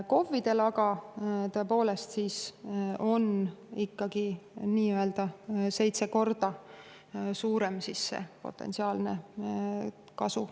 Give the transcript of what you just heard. KOV-idel aga, tõepoolest, on potentsiaalne saadav kasu sellest seitse korda suurem.